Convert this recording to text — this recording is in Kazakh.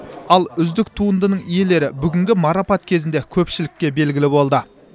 ал үздік туындының иелері бүгінгі марапат кезінде көпшілікке белгілі болды